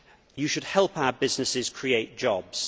You should help our businesses create jobs.